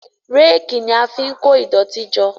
Réèkì ní a fín kọ idoti jọ.